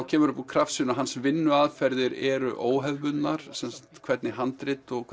kemur upp úr krafsinu að hans vinnuaðferðir eru óhefðbundnar hvernig handrit og